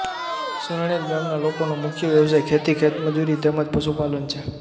સરણેજ ગામના લોકોનો મુખ્ય વ્યવસાય ખેતી ખેતમજૂરી તેમ જ પશુપાલન છે